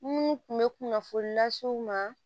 Minnu tun bɛ kunnafoni lase u ma